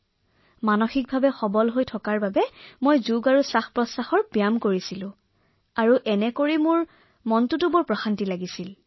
মই মানসিকভাৱে শক্তিশালী হব লাগিব যাৰ বাবে মোক যোগাভ্যাসে উশাহনিশাহৰ ব্যায়ামে যথেষ্ট সহায় কৰিছিল